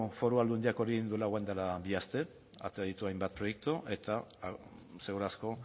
foru aldundiak hori egin duela orain dela bi aste atera ditu hainbat proiektu eta segur asko